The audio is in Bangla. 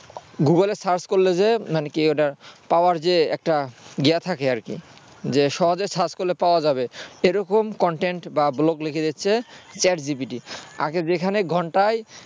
google এ search করলে যে মানে কি ওটা পাওয়ার যে একটা ইয়ে থাকে আর কি যে সহজে search করলে পাওয়া যাবে এরকম content বা blog লিখে দিচ্ছে chat GPT আগে যেখানে ঘন্টায়